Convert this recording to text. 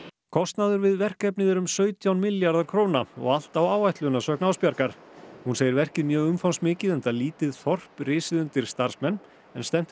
kostnaður við verkefnið er um sautján milljarðar króna og allt á áætlun að sögn hún segir verkið mjög umfangsmikið enda lítið þorp risið undir starfsmenn en stefnt er